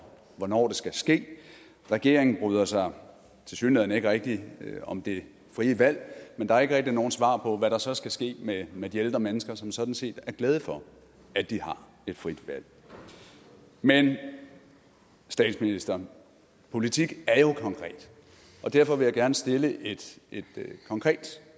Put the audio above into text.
hvornår det skal ske regeringen bryder sig tilsyneladende ikke rigtig om det frie valg men der er ikke rigtig nogen svar på hvad der så skal ske med med de ældre mennesker som sådan set er glade for at de har et frit valg men statsminister politik er jo konkret og derfor vil jeg gerne stille et konkret